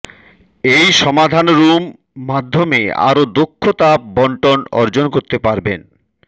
এই সমাধান রুম মাধ্যমে আরো দক্ষ তাপ বন্টন অর্জন করতে পারবেন